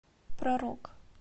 про рок